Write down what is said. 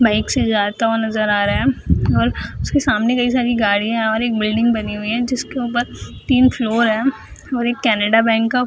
bike से जाता हुआ नजर आ रहा है और उसके सामने कई सारी गाड़ियां है और एक बिल्डिंग बनी हुई है जिसके ऊपर तीन फ्लोर है और एक केनरा बैंक का --